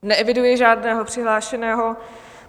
Neeviduji žádného přihlášeného.